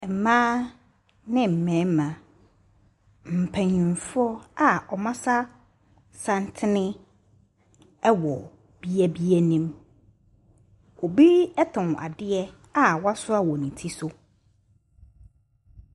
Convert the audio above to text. Mmea ne mmarima mpanyinfoɔ a ɔmɔ asasanteni ɛwɔ beaeɛ bi anim ɔbi ton adeɛ a wasua wɔ ne tire so.